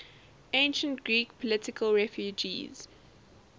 ancient greek political refugees